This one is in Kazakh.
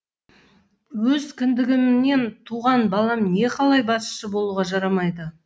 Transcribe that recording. өз кіндігімнен туған балам некалай басшы болуға жарамайды